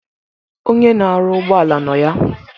Onye na-arụ ụgbọala nọ ya.